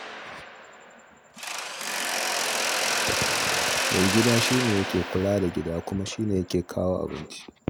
Maigida shi ne yake kula da gida, kuma shi yake kawo abinci.